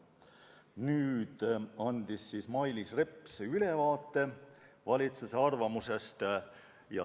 Nüüd andis Mailis Reps ülevaate valitsuse arvamusest.